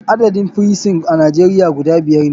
Adadin firison a nijeria guda biyar ne.